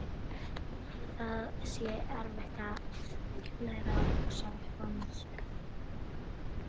Það sé erfitt að læra að hugsa upp á nýtt.